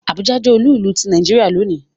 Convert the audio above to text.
Àbújá jẹ́ olú ìlú ti Nàìjíríà lónìí